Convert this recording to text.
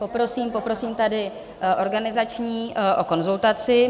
Poprosím tady organizační o konzultaci.